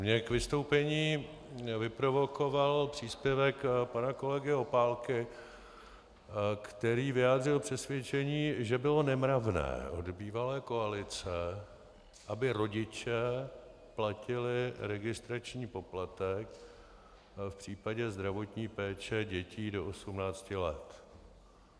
Mě k vystoupení vyprovokoval příspěvek pana kolegy Opálky, který vyjádřil přesvědčení, že bylo nemravné od bývalé koalice, aby rodiče platili regulační poplatek v případě zdravotní péče dětí do 18 let.